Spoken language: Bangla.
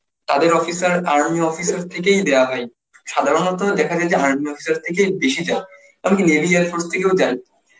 তাদের officer, army officer থেকেই দেওয়া হয়. সাধারণত দেখা যায় যে army officer থেকেই বেশি যায়. আবার কি navy, air force থেকেও যায়.